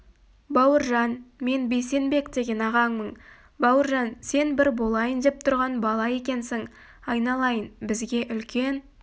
бауыржан мен бейсенбек деген ағаңмын бауыржан сен бір болайын деп тұрған бала екенсің айналайын бізге үлкен